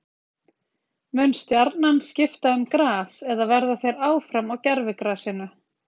Mun Stjarnan skipta um gras eða verða þeir áfram á gervigrasinu?